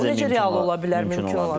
Bu necə real ola bilər, mümkün ola bilər?